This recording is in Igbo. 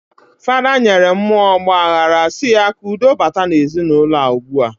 Fada nyere muo ogbahara si ya ka udo bata na ezi na uloua ugbua.